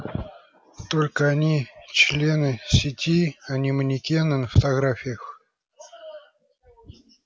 только они члены сети а не манекены на фотографиях